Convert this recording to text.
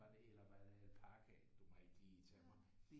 Var det eller var det alpakaer du må ikke lige tage mig